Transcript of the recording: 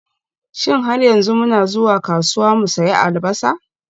Shin har yanzu muna zuwa kasuwa mu sayi Albasa?